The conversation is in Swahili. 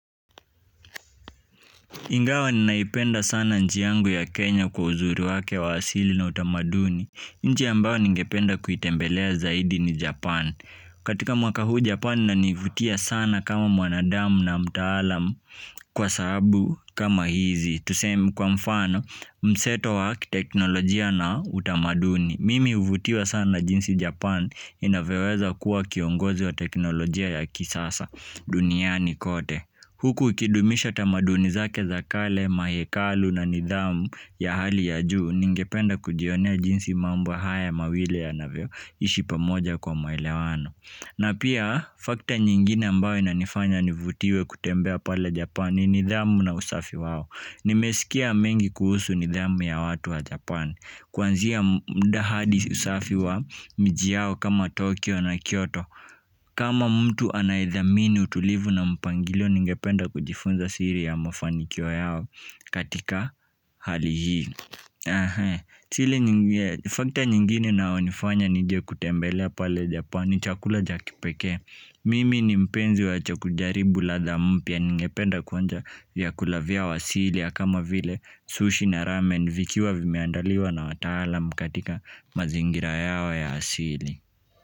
Ingawa ninaipenda sana nchi yangu ya Kenya kwa uzuri wake wa asili na utamaduni. Nchi ambayo ningependa kuitembelea zaidi ni Japan. Katika mwaka huu Japan inanivutia sana kama mwanadamu na mtaalamu kwa sababu kama hizi. Tuseme kwa mfano mseto wa kiteknolojia na utamaduni. Mimi huvutiwa sana na jinsi Japan inavyoweza kuwa kiongozi wa teknolojia ya kisasa duniani kote. Huku ikidumisha tamaduni zake za kale, mahekalu na nidhamu ya hali ya juu ningependa kujionea jinsi mambo haya mawili yanavyo ishi pamoja kwa maelewano. Na pia factor nyingine ambayo inanifanya nivutiwe kutembea pale Japani ni nidhamu na usafi wao. Nimesikia mengi kuhusu nidhamu ya watu wa Japani. Kuanzia muda hadi usafi wa miji yao kama Tokyo na Kyoto kama mtu anayedhamini utulivu na mpangilio ningependa kujifunza siri ya mafanikio yao katika hali hii. Factor nyingine inayonifanya nije kutembelea pale japani ni chakula cha kipekee mimi ni mpenzi wa cha kujaribu ladha mpya ningependa kuonja vyakula vyao asili kama vile sushi na ramen. Vikiwa vimeandaliwa na wataalam katika mazingira yao ya asili.